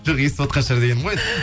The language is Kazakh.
жоқ естіватқан шығар дегенім ғой